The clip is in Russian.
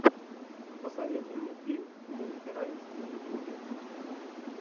посоветуй мне фильм мульти раймс на ютубе